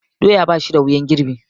Doya ba shi da wuyan girbi.